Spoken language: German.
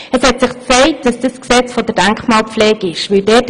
Es zeigte sich, dass dies im Gesetz über die Denkmalpflege der Fall ist.